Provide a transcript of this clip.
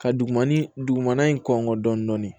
Ka dugumana dugumana in kɔngɔ dɔnni